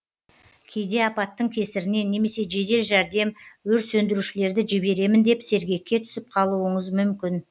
кейде апаттың кесірінен немесе жедел жәрдем өрт сөндірушілерді жіберемін деп сергекке түсіп қалуыңыз мүмкін